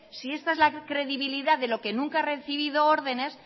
si esta es la credibilidad de lo que nunca ha recibido órdenes